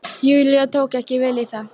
Júlía tók ekki vel í það.